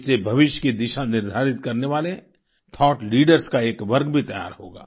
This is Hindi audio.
इससे भविष्य की दिशा निर्धारित करने वाले थाउट लीडर्स का एक वर्ग भी तैयार होगा